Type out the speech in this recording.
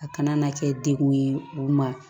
A kana na kɛ degun ye u ma